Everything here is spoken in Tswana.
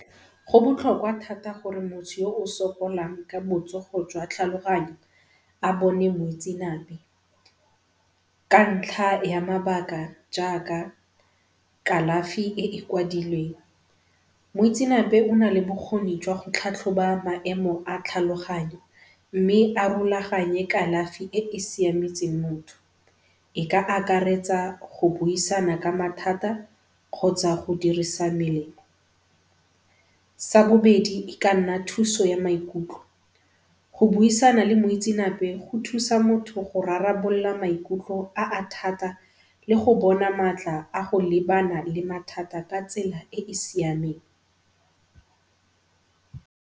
Go botlhokwa thata gore motho yo o sokolang ka botsogo jwa tlhaloganyo a bone moitsenape ka ntlha ya mabaka jaaka kalafi e e kwadilweng. Moitseanape o na le bokgoni jwa go tlhatlhoba maemo a tlhaloganyo mme a rulaganye kalafi e e siametseng motho e ka akaretsa go busisana ka mathata kgotsa go dirisa melemo. Sa bobedi e ka nna thuso ya maikutlo. Go buisana le moitsenape go thusa motho go rarabolola maikutlo a a thata le go bona matla a go lebana le mathata ka tsela e e siameng.